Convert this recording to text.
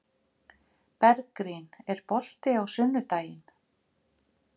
Bergrín, er bolti á sunnudaginn?